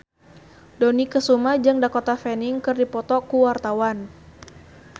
Dony Kesuma jeung Dakota Fanning keur dipoto ku wartawan